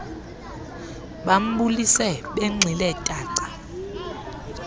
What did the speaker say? bambulise benxile paqa